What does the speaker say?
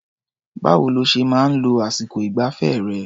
Báwo lo ṣe máa ń lo àsìkọ ìgbafẹ́ rẹ̀?